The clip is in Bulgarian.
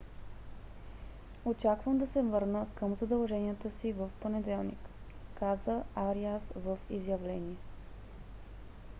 очаквам да се върна към задълженията си в понеделник каза ариас в изявление